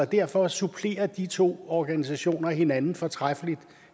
derfor supplerer de to organisationer hinanden fortræffeligt